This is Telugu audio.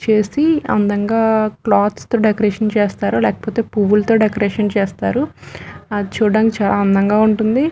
చేసి అందంగా క్లాత్స్ తో డెకరేషన్ చేస్తారు లేకపోతే పువ్వులతో డెకరేషన్ చేస్తారుఅది చుడానికి చాలా అందంగా ఉంటుంది.